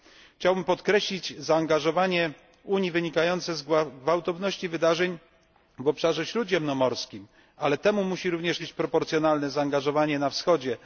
Chciałbym podkreślić zaangażowanie Unii wynikające z gwałtowności wydarzeń w obszarze śródziemnomorskim, ale temu musi również towarzyszyć proporcjonalne zaangażowanie na Wschodzie.